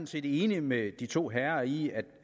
set enig med de to herrer i